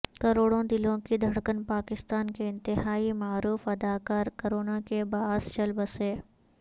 کروڑوں دلوں کی دھڑکن پاکستان کے انتہائی معروف اداکار کرونا کےباعث چل بسے